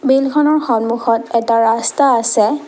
বিলখনৰ সন্মুখত এটা ৰাস্তা আছে।